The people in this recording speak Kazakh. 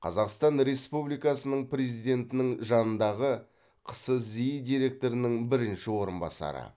қазақстан республикасының президентінің жанындағы қсзи директорының бірінші орынбасары